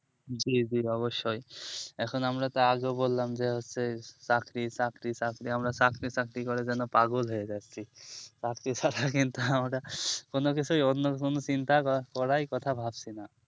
জি এখন আমরা আগে বললাম যে চাকরি চাকরি চাকরি আমরা চাকরি চাকরি করে যেন পাগল হয়েযাচ্ছি চাকরি ছাড়া কিন্তু আমরা কোনো কিছু চিন্তা করার কথাই ভাবছি না